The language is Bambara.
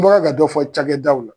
N bɔra ka dɔ fɔ cakɛdaw la